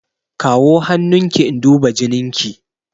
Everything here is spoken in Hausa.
Kawo hannun ki in duba jinin ki!